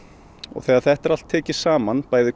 þegar þetta er allt tekið saman bæði